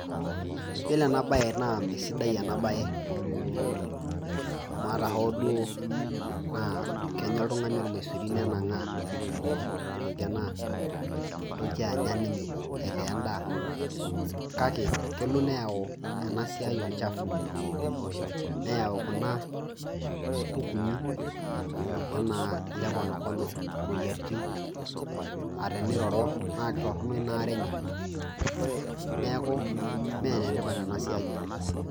Iyiolo eena baye naa mesidai eena baye, amuu aata hoo duo keenya oltung'ani ormaisuri nennang'aa, neitoki eena toki aanya ninye, aitaa en'daa, kake kelo neyau eena siai olchafu, neyau kuna kukuni enaa eele konokono imueyiaritin. Aah teniroro, naa kaitorono iina aare eenye niaku iime enetipat eena siai oleng.